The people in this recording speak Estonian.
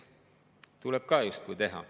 See tuleb ka teha.